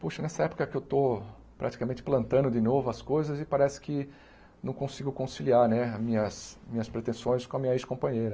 Puxa, nessa época que eu estou praticamente plantando de novo as coisas e parece que não consigo conciliar né as minhas minhas pretensões com a minha ex-companheira.